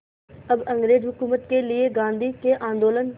अब अंग्रेज़ हुकूमत के लिए गांधी के आंदोलन